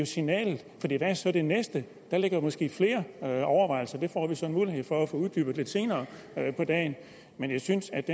signalet hvad er så det næste der ligger måske flere overvejelser det får vi så mulighed for at få uddybet lidt senere på dagen men jeg synes at